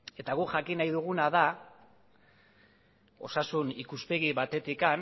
eta gu jakin nahi duguna da osasun ikuspegi batetik